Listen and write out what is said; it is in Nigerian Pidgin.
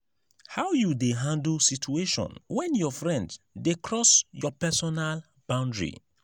how you dey handle situation when your friend dey cross your personal boundary?